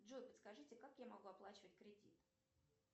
джой подскажите как я могу оплачивать кредит